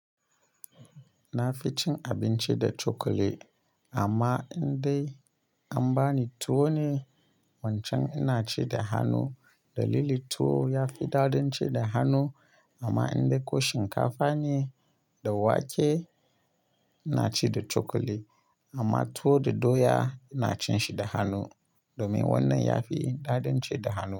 Na fi cin abinci da cokali, amma in dai an bani tuwo ne, wancan ina ci da hannu. Dalili tuwo ya fi dadin ci da hannu, amma in dai ko shinkafa ne da wake ina ci da cokali. Amma tuwo da doya ina cin shi da hannu domin wannan ya fi dadin ci da hannu.